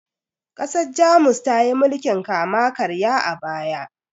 ƘasarJamus tayi mulkin kama karya a baya